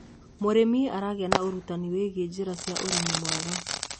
mũrĩmi aragia na urutanĩ wigie njira cia ũrĩmi mwega